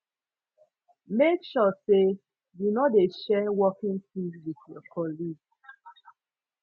make sure say you no de share working tools wit your colleague